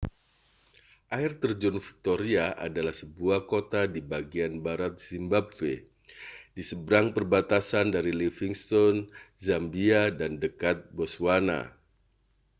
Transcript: air terjun victoria adalah sebuah kota di bagian barat zimbabwe di seberang perbatasan dari livingstone zambia dan dekat botswana